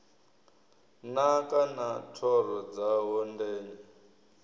naka na thoro dzawo ndenya